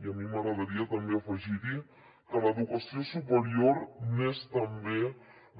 i a mi m’agradaria també afegir hi que l’educació superior és també